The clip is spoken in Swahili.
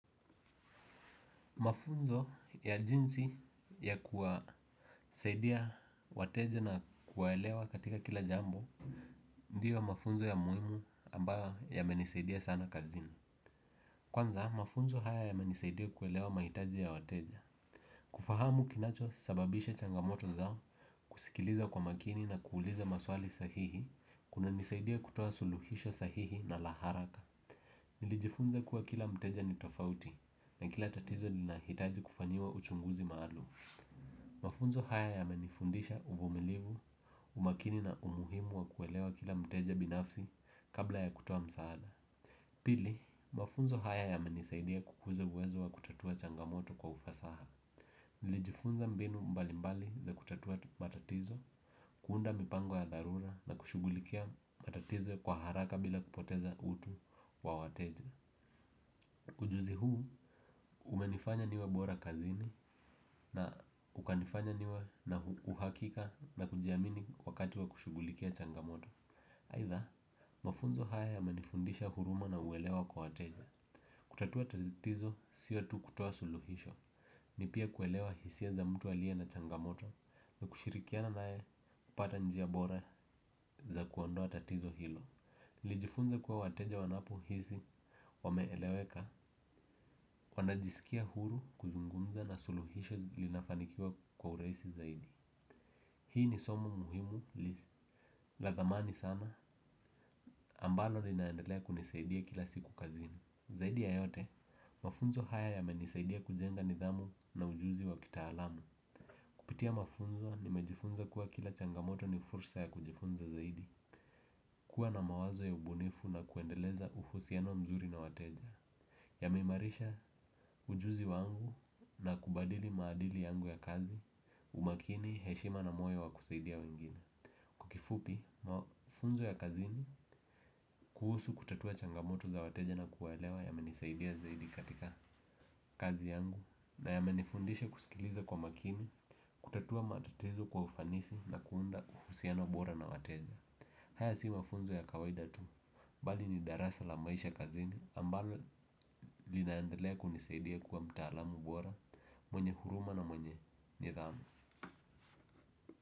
Mafunzo ya jinsi ya kuwasaidia wateja na kuwaelewa katika kila jambo. Ndiyo mafunzo ya muhimu ambayo yamenisaidia sana kazini. Kwanza mafunzo haya yamenisaidia kuelewa mahitaji ya wateja. Kufahamu kinachosababisha changamoto zao kusikiliza kwa makini na kuuliza maswali sahihi kunanisaidia kutoa suluhisho sahihi na la haraka. Nilijifunza kuwa kila mteja ni tofauti na kila tatizo linahitaji kufanyiwa uchunguzi maalum. Mafunzo haya yamenifundisha uvumilivu umakini na umuhimu wa kuelewa kila mteja binafsi kabla ya kutoa msaada. Pili, mafunzo haya yamenisaidia kukuza uwezo wa kutatua changamoto kwa ufasaha. Nilijifunza mbinu mbalimbali za kutatua matatizo, kuunda mipango ya dharura na kushughulikia matatizo kwa haraka bila kupoteza utu wa wateja ujuzi huu umenifanya niwe bora kazini na ukanifanya niwe na uhakika na kujiamini wakati wa kushughulikia changamoto aidha, mafunzo haya yamenifundisha huruma na uwelewa kwa wateja. Kutatua tatizo sio tu kutoa suluhisho, ni pia kuelewa hisia za mtu aliye na changamoto na kushirikiana naye kupata njia bora za kuondoa tatizo hilo nilijifunza kuwa wateja wanapohisi wameeleweka wanajisikia huru kuzungumza na suluhisho linafanikiwa kwa urahisi zaidi hii ni somo muhimu la dhamani sana ambalo linaendelea kunisaidia kila siku kazini zaidi ya yote mafunzo haya yamenisaidia kujenga nidhamu na ujuzi wa kitaalam. Kupitia mafunzo nimejifunza kuwa kila changamoto ni fursa ya kujifunza zaidi. Kuwa na mawazo ya ubunifu na kuendeleza uhusiano mzuri na wateja yameimarisha ujuzi wangu na kubadili maadili yangu ya kazi umakini heshima na moyo wa kusaidia wengine. Kwa kifupi mafunzo ya kazini kuhusu kutatua changamoto za wateja na kuwaelewa yamenisaidia zaidi katika kazi yangu na yamenifundisha kusikiliza kwa makini kutatua matatizo kwa ufanisi na kuunda uhusiano bora na wateja. Haya si mafunzo ya kawaida tu bali ni darasa la maisha kazini ambalo linaendelea kunisaidia kuwa mtaalamu bora mwenye huruma na mwenye nidhamu.